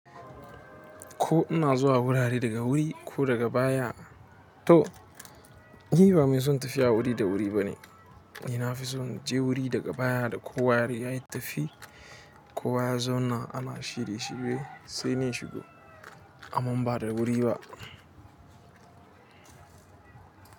Ko ina zuwa wurare daga wuri ko daga baya to ni ba mai son tafiya wuri da wuri bane ina fi son je wuri daga baya da ko wa yayi tafi ko wa ya zauna ana shirye shirye sai ni shigo aman ba da wuri ba.